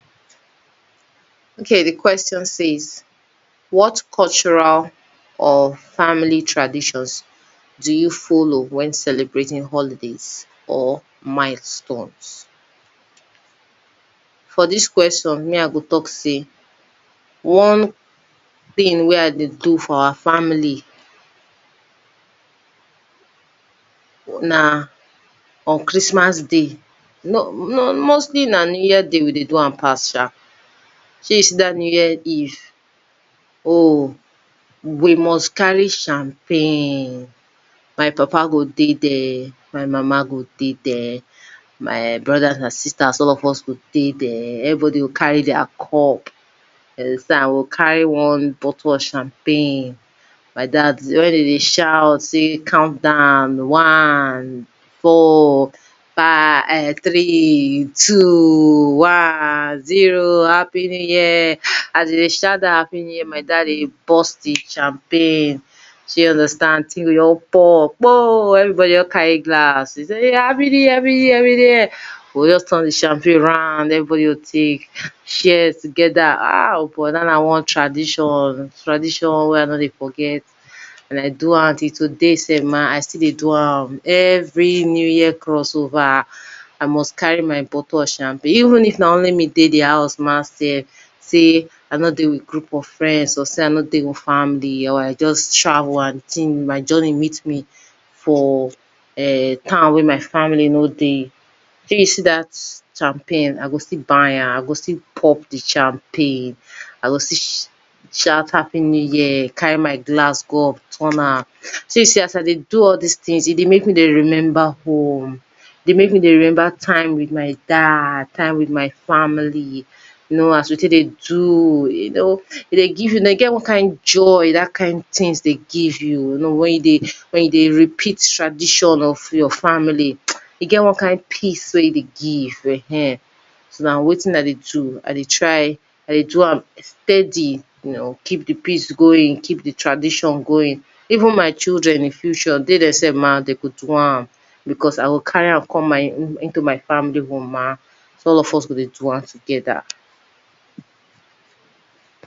Okay di question says what cultural or family traditions do you follow when celebrating holidays or mile stone s for dis question me I go talk say one thing wey I dey do for our family na on Christmas day no no mostly na on new year day we dey do am pass shall shey you see dat new year eve oh we must carry champagne my papa go dey there my mama go dey there my brothers and sisters all of us go dey there everybody go car ry their cup you understand we go cay one bottle of champagne, my dad di one dem dey shout sey calm down, one, four, five [urn] three, two, one, zero, happy new year! As dem sey shout dat happy near, my dad dey burst di champagne shey you understand di thing go just pour, kpoo, everybody go just carry glass, sey happy new year, happy new year, happy new year, we go just turn di champagne round, everybody go just take, share together, ah o boy dat one na one tradition, tradition wey I nor dey forget, like do am till today sef, my I still dey do am, every new year crossover I must carry my bottle of champagne, even if na only me dey di house sef ma, sey I nor dey with group of friends, or sey I nor dey with family, sey I just travel and my journey meet me for town wey my family no dey, shey you see dat champagne I go still buy am, I go still pop di champagne, I go still shout happy new year, carry my glass go up, turn am, shey you see as I dey do all dis thing e dey make me dey remember home, e dey make me dey remember time with my dad, time with my family, you know, as we take dey do, you know e dey give you, e dey get one kind joy, dat kind things dey give you, you know wen you dey, wen you dey repeat tradition of your family, e get one kind peace wey e dey give [urn] so na wetin I dey do I dey try, I dey do am steady, you know keep di peace going, keep di tradition going. Even my children in di future dey dem sef ma, dem go do am, because I go carry am come my, into my family home ma, so all of us go dey do am together.